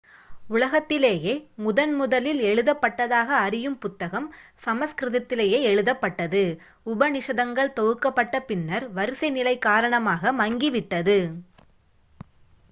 உலகத்திலேயே முதன் முதலில் எழுதப்பட்டதாக அறியும் புத்தகம் சமஸ்கிருதத்திலேயே எழுதப்பட்டது உபநிஷதங்கள் தொகுக்கப்பட்ட பின்னர் வரிசை நிலை காரணமாக மங்கி விட்டது